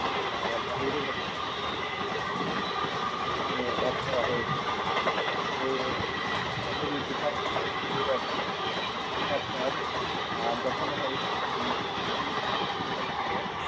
আহ বাহিরের একটা সংস্কৃতিকে এখানে add করা হয়েছে তারপরে ইসলামের ইতিহাসের যে বই আছে সেখানে আপনার আহ দেখানো হয়েছে যে মুসলিম শাসন যেটা ছিল